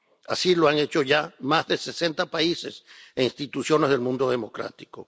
Así lo han hecho ya más de sesenta países e instituciones del mundo democrático.